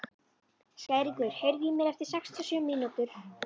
Skæringur, heyrðu í mér eftir sextíu og sjö mínútur.